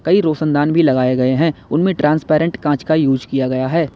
कई रोशनदान भी लगाए गए हैं उनमें ट्रांसपेरेंट कांच का यूज़ किया गया है।